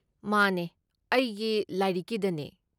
ꯃꯥꯅꯦ, ꯑꯩꯒꯤ ꯂꯥꯏꯔꯤꯛꯀꯤꯗꯅꯦ꯫